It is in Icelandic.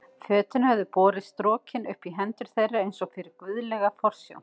Fötin höfðu borist strokin upp í hendur þeirra eins og fyrir guðlega forsjón.